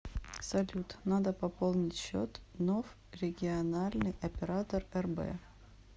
салют надо пополнить счет ноф региональный оператор рб